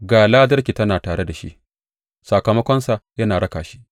Ga ladarsa tana tare da shi, sakamakonsa yana raka shi.’